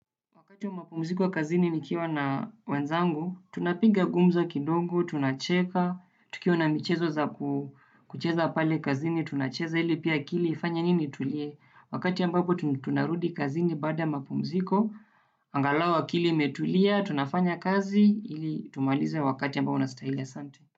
Wakati wa mapumziko kazini nikiwa na wenzangu, tunapiga gumzo kidogo, tunacheka, tukiwa na michezo za kucheza pale kazini, tunacheza ili pia akili, ifanye nini tulie? Wakati ambapo tunarudi kazini baada mapumziko, angalau akili imetulia, tunafanya kazi, ili tumalize wakati ambao unastahili asante.